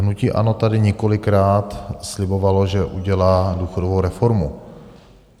Hnutí ANO tady několikrát slibovalo, že udělá důchodovou reformu.